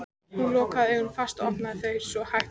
Hún lokaði augunum fast og opnaði þau svo hægt aftur.